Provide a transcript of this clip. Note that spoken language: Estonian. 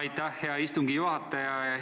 Aitäh, hea istungi juhataja!